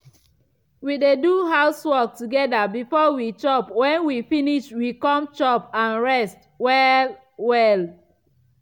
we dey do house work together before we chop wen we finish we come chop and rest well -welll.